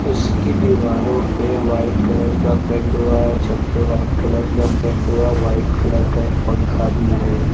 इसकी दीवारों पे व्हाइट कलर का पेंट हुआ है और छत पे व्हाइट कलर का पेंट हुआ व्हाइट कलर का एक पंखा भी है।